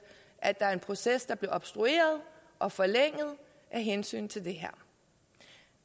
at der var en proces der blev obstrueret og forlænget af hensyn til det her